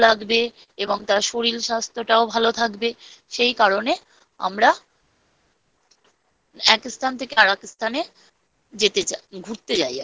এবং তার শরীর স্বাস্থ্যও ভাল থাকবে৷ সেই কারণে আমরা। এক স্থান থেকে আরেক স্থানে যেতে চাই।